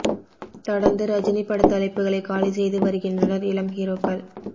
தொடர்ந்து ரஜினி படத் தலைப்புகளை காலி செய்து வருகின்றனர் இளம் ஹீரோக்கள்